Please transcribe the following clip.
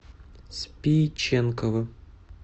спиченково